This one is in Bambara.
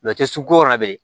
su ko la bilen